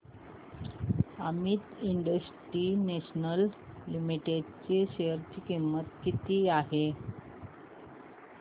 Amit international limited च्या share ची किंमत किती आहे